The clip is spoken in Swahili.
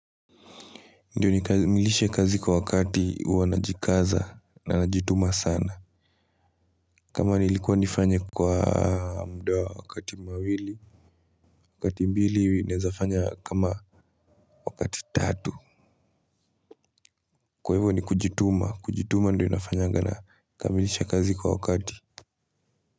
Ndio nikamilishe kazi kwa wakati huwa najikaza na najituma sana. Kama nilikuwa nifanye kwa muda wa wakati mawili. Wakati mbili naeza fanya kama wakati tatu. Kwa hivo ni kujituma kujituma ndio inafanyanga nakamilisha kazi kwa wakati.